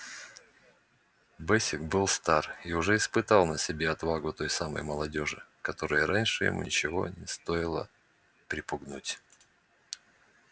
бэсик был стар и уже испытал на себе отвагу той самой молодёжи которую раньше ему ничего не стоило припугнуть